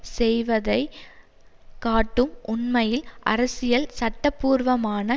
செய்வதை காட்டும் உண்மையில் அரசியல் சட்டபூர்வமான